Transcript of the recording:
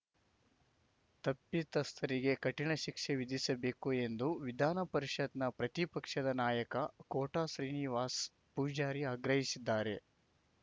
ತಪ್ಪಿತಸ್ಥರಿಗೆ ಕಠಿಣ ಶಿಕ್ಷೆ ವಿಧಿಸಬೇಕು ಎಂದು ವಿಧಾನ ಪರಿಷತ್‌ನ ಪ್ರತಿಪಕ್ಷದ ನಾಯಕ ಕೋಟ ಶ್ರೀನಿವಾಸ್ ಪೂಜಾರಿ ಆಗ್ರಹಿಸಿದ್ದಾರೆ